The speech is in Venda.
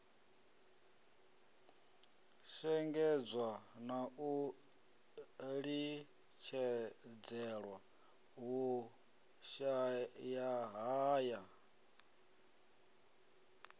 shengedzwa na u litshedzelwa vhushayahaya